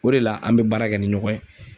O de la ,an be baara kɛ ni ɲɔgɔn ye.